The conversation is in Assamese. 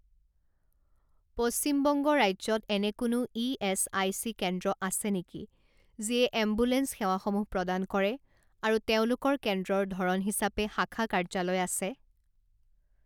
পশ্চিম বংগ ৰাজ্যত এনে কোনো ইএচআইচি কেন্দ্ৰ আছে নেকি যিয়ে এম্বুলেন্স সেৱাসমূহ প্ৰদান কৰে আৰু তেওঁলোকৰ কেন্দ্ৰৰ ধৰণ হিচাপে শাখা কাৰ্যালয় আছে?